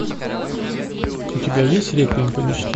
у тебя есть реквием по мечте